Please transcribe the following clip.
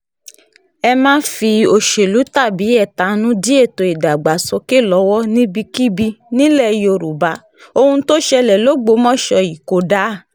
ẹ má fi òṣèlú tàbí ẹ̀tanú dí ètò ìdàgbàsókè lọ́wọ́ níbikíbi nílẹ̀ yorùbá ohun tó ṣẹlẹ̀ lọgbọ́mọso yìí kò dáa